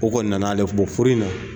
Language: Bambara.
O kɔni nana ale bɔ furu in na.